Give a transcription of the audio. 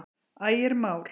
Ægir Már.